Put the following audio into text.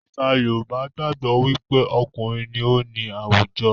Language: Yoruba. Àṣà Yorùbá gbàgbó wí pé okùnrin ní o ní àwùjọ.